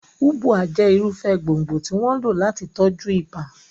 Ubwa jẹ́ irúfẹ́ gbòǹgbò tí wọ́n ń lò láti tọ́jú ibà.